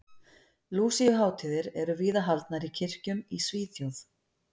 Lúsíuhátíðir eru víða haldnar í kirkjum í Svíþjóð.